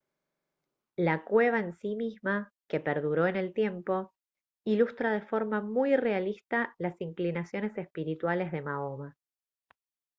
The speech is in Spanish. la cueva en sí misma que perduró en el tiempo ilustra de forma muy realista las inclinaciones espirituales de mahoma